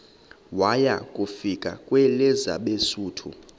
waya kufika kwelabesuthu